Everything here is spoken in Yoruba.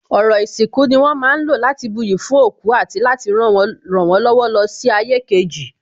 Ọrọ̀ ìsìnkú ni wón ma ń lò láti buyì fún òkú àti láti rànwọ́n lọ́wọ́ lọ sí ayé kejì